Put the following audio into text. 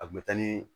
A kun bɛ taa ni